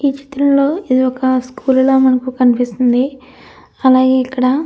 ఈ చిత్రంలో ఇది ఒక స్కూల్ ల మనకు కనిపిస్తుంది అలాగే ఇక్కడ --